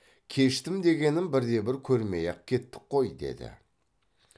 кештім дегенін бірде бір көрмей ақ кеттік қой деді